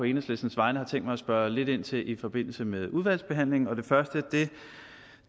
enhedslistens vegne har tænkt mig at spørge lidt ind til i forbindelse med udvalgsbehandlingen det første